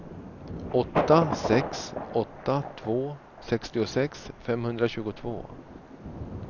åtta sex åtta två sextiosex femhundratjugotvå